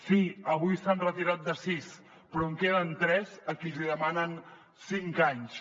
sí avui s’han retirat de sis però en queden tres a qui els demanen cinc anys